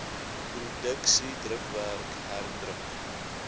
produksie drukwerk herdruk